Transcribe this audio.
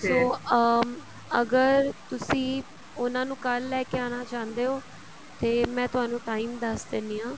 so ਅਹ ਅਗਰ ਤੁਸੀਂ ਉਹਨਾ ਨੂੰ ਕੱਲ ਲੈਕੇ ਆਉਣਾ ਚਾਹੁੰਦੇ ਹੋ ਤੇ ਮੈਂ ਤੁਹਾਨੂੰ time ਦੱਸ ਦਿੰਨੀ ਹਾਂ